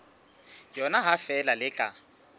yona ha feela le tla